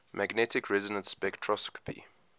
magnetic resonance spectroscopy